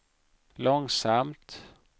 långsamt